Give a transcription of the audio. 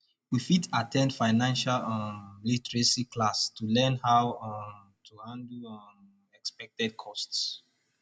we fit at ten d financial um literacy classes to learn how um to handle um unexpected costs